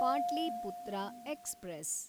Pataliputra express